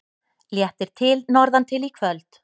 Léttir til norðantil í kvöld